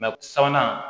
sabanan